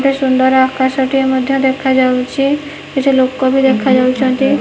କେତେ ସୁନ୍ଦର ଆକାଶ ଟିଏ ମଧ୍ୟ ଦେଖାଯାଉଛି କିଛି ଲୋକ ବି ଦେଖାଯାଉଛନ୍ତି।